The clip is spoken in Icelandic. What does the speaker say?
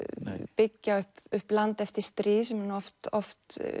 byggja upp upp land eftir stríð sem eru nú oft oft